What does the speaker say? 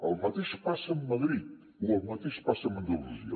el mateix passa amb madrid o el mateix passa amb andalusia